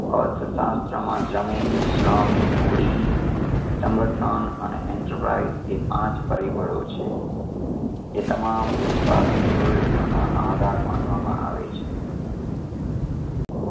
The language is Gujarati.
અર્થશાસ્ત્રમાં જમીન શ્રમ મૂડી સંગઠન અને enterprise એ પાંચ પરિબળો છે એ તમામ ઉત્પાદન પ્રવૃતિઓનો આધાર માનવામાં આવે છે